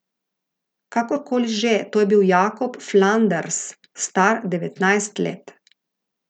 Kakor koli že, to je bil Jakob Flanders, star devetnajst let.